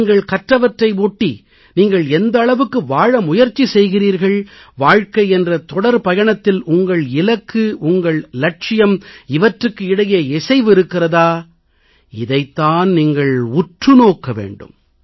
நீங்கள் கற்றவற்றை ஒட்டி நீங்கள் எந்த அளவுக்கு வாழ முயற்சி செய்கிறீர்கள் வாழ்க்கை என்ற தொடர் பயணத்தில் உங்கள் இலக்கு உங்கள் லட்சியம் இவற்றுக்கு இடையே இசைவு இருக்கிறதா இதைத் தான் நீங்கள் உற்று நோக்க வேண்டும்